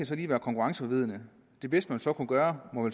så lige være konkurrenceforvridende det bedste man så kan gøre må